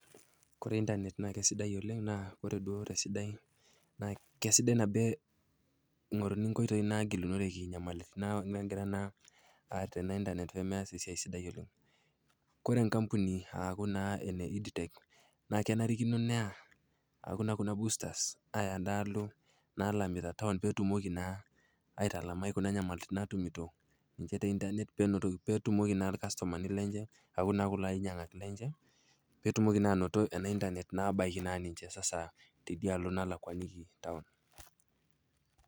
Kore intanet naa kesidai oleng naa ore duo tesidai naa kesidai nabo eing'oruni inkoitoi nagilunokereki inyamalitin nagira naa ateen naa intanet peemeas esiai sidai oleng. Kore enkampuni aaku naa ene EdTech naa kenarikino naa neya aaku naa boostas endaalo naalamita town peetumoki naa aitalamai kuna nyamalitin naatumito ninche te intanet peenotoki, peetumoki naa ilkastomani lenche aaku naa kulo ainyang'ak lenche pee etumoki naa ainoto ena intanet abaiki naa ninche sasa tedialo nalakwaniki town.